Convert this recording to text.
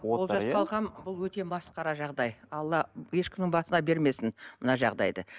бұл өте масқара жағдай алла ешкімнің басына бермесін мына жағдайды